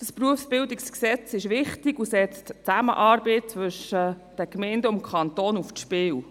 Das BerG ist wichtig und setzt die Zusammenarbeit zwischen den Gemeinden und dem Kanton aufs Spiel.